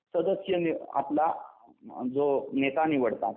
सदस्यांनी आपला जो नेता निवडतात.